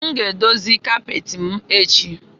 M ga-edozi kapeti m echi